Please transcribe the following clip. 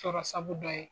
Sɔrɔ sabu dɔ ye